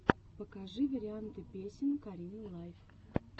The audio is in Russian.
покажи варианты песен карины лайф